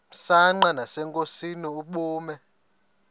msanqa nasenkosini ubume